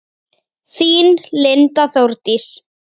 Þín Linda Þórdís.